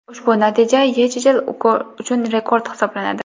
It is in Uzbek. Ushbu natija YeChL uchun rekord hisoblanadi.